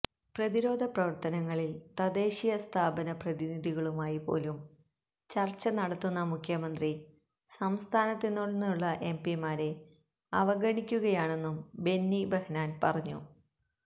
പ്രതിരോധ പ്രവർത്തനങ്ങളിൽ തദ്ദേശസ്ഥാപന പ്രതിനിധികളുമായി പോലും ചർച്ച നടത്തുന്ന മുഖ്യമന്ത്രി സംസ്ഥാനത്ത് നിന്നുളള എംപിമാരെ അവഗണിക്കുകയാണെന്നും ബെന്നി ബെഹനാൻ പറഞ്ഞു